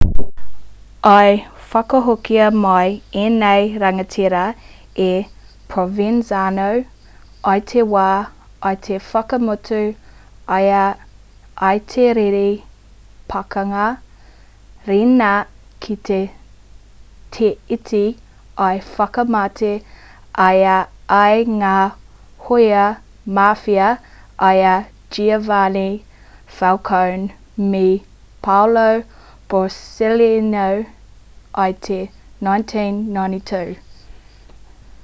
i whakahokia mai ēnei rangatira e provenzano i te wā i whakamutu ai i te riri pakanga riina ki te teiti i whakamate ai i ngā hōia mafia i a giovanni falcone me paolo borsellino i te 1992